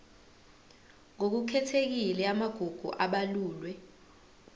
ngokukhethekile amagugu abalulwe